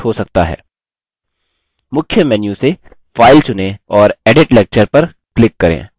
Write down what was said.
मुख्य menu से file चुनें और edit lecture पर click करें